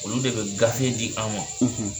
Olu de bɛ gafe di an ma